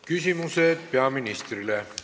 Küsimused peaministrile.